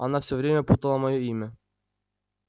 она всё время путала моё имя